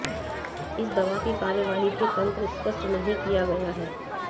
इस दवा की कार्रवाई के तंत्र स्पष्ट नहीं किया गया है